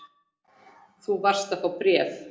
Þú varst að fá bréf.